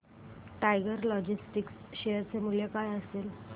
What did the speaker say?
tiger Logistics share चे मूल्य काय असेल